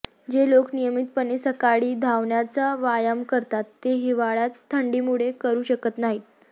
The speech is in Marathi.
जे लोक नियमितपणे सकाळी धावण्याचा व्यायाम करतात ते हिवाळ्यात थंडीमुळे करू शकत नाहीत